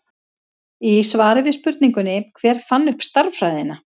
Í svari við spurningunni Hver fann upp stærðfræðina?